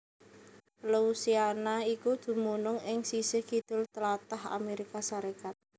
Louisiana iku dumunung ing sisih kidul tlatah Amérika Sarékat